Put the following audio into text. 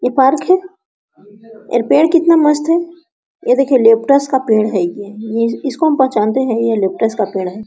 ये पार्क है ये पेड़ कितना मस्त है ये देखिए लेप्टस का पेड़ है ये ये इसको हम पहचानते हैं ये लेप्टस का पेड़ है।